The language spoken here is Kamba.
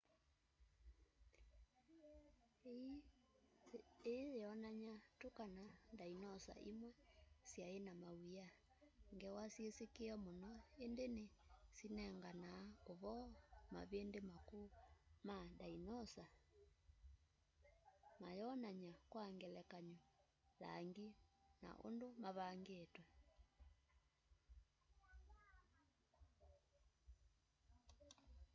ii yionania tu kana ndainosa imwe swai na mawia ngewa syisikie mũno indi ni syinenganaa uvoo mavindi makũu ma ndainosa matonania kwa ngelekany'o langi na undũ mavangitwe